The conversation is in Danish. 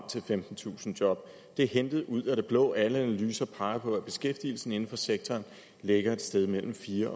til femtentusind job det er hentet ud af det blå alle analyser peger på at beskæftigelsen inden for sektoren ligger et sted mellem fire